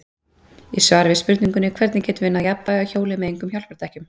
Í svari við spurningunni Hvernig getum við náð jafnvægi á hjóli með engum hjálpardekkjum?